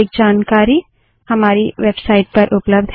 अधिक जानकारी हमारी वेबसाइट पर उपलब्ध है